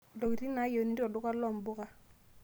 ntoikitin nayeuni to olduka loo nmbuka